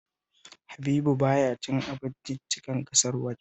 Habibu ba ya cin abinciccikan kasar waje